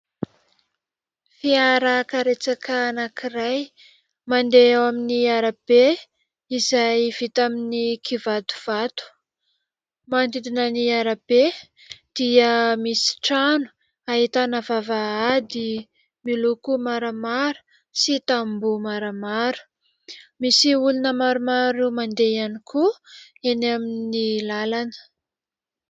Fiarakaretsaka anankiray, mandeha eo amin'ny arabe izay vita amin'ny kivatovato. Manodidina ny arabe dia misy trano, ahitana vavahady miloko maramara sy tamboho maramara. Misy olona maromaro mandeha ihany koa eny amin'ny lalana.